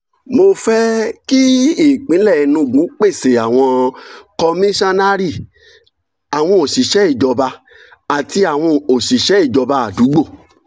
mo fẹ́ kí ìpínlẹ̀ enugu pèsè àwọn kọmíṣọ́nnárì àwọn òṣìṣẹ́ ìjọba àti àwọn òṣìṣẹ́ ìjọba àdúgbò